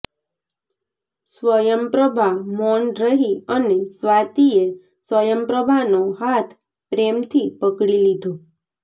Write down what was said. સ્વયંપ્રભા મૌન રહી અને સ્વાતિએ સ્વયંપ્રભાનો હાથ પ્રેમથી પકડી લીધો